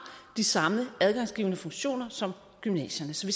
de samme adgangsgivende funktioner som gymnasiet så